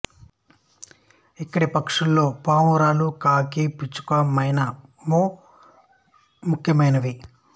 ఇక్కడి పక్షులలో పావురాలు కాకి పిచ్చుక మైనా మొ ముఖ్యమైనవి